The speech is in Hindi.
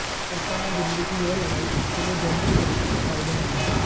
ऐसे में दिल्ली की यह लड़ाई उसके लिए दोनों ही तरीके से फायदेमंद है